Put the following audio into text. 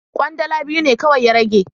Kwandala biyu ne kawai ya rage.